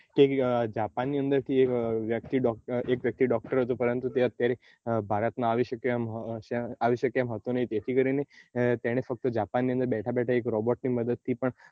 Japan ની અંદર થી એક વ્યક્તિ doctor હતો પરંતુ તે અત્યારે ભારત માં આવી શકે એમ હતો નહી જેથી કરીને તેને ત્યાં બેઠે બેઠે એક robot ની મદદથી પણ